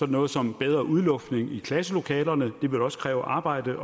noget som bedre udluftning i klasselokalerne det vil også kræve arbejde